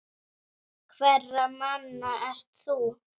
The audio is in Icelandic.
Hverra manna ert þú?